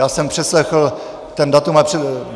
Já jsem přeslechl to datum...